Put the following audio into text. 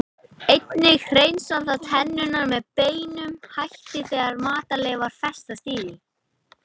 Einnig hreinsar það tennurnar með beinum hætti þegar matarleifar festast í því.